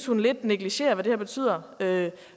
hun lidt negligerer hvad det her betyder ved